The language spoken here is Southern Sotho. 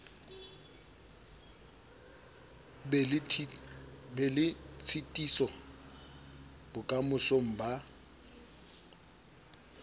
be le tshitiso bokamosong ba